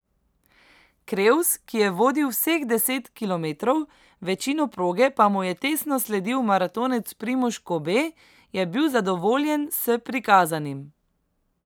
Krevs, ki je vodil vseh deset kilometrov, večino proge pa mu je tesno sledil maratonec Primož Kobe, je bil zadovoljen s prikazanim.